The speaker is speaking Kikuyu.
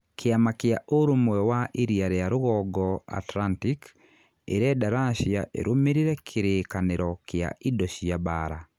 Kĩama kĩa ũrũmwe wa Iria ria rũgongo Atlantic ĩrenda Russia ĩrũmĩrĩre kĩrĩkanĩro kĩa indo cia mbaara